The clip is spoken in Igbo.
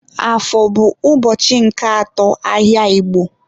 Afọ bụ ụbọchị nke atọ ahịa Igbo.